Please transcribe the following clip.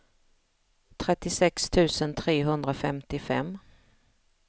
trettiosex tusen trehundrafemtiofem